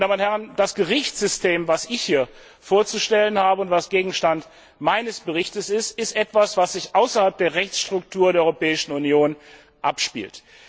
Meine Damen und Herren, das Gerichtssystem, das ich hier vorzustellen habe und das Gegenstand meines Berichts ist, ist etwas, was sich außerhalb der Rechtsstruktur der Europäischen Union abspielt.